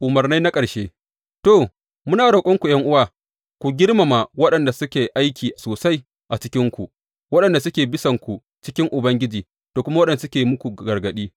Umarnai na ƙarshe To, muna roƙonku, ’yan’uwa, ku girmama waɗanda suke aiki sosai a cikinku, waɗanda suke bisanku cikin Ubangiji da kuma waɗanda suke yin muku gargaɗi.